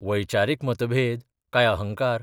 वैचारीक मतभेद काय अहंकार?